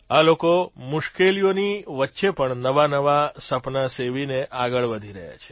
આ લોકો મુશ્કેલીઓની વચ્ચે પણ નવાનવા સપના સેવીને આગળ વધી રહ્યા છે